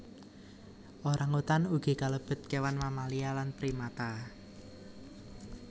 Orang utan ugi kalebet kewan mamalia lan primata